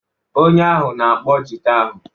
Onye ahụ na-akpọ jita ahụ.